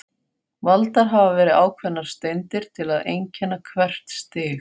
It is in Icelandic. Valdar hafa verið ákveðnar steindir til að einkenna hvert stig.